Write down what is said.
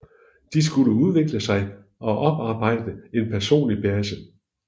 De skulle udvikle sig og oparbejde en personlig base